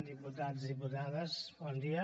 diputats diputades bon dia